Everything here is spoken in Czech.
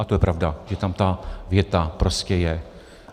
A to je pravda, že tam ta věta prostě je.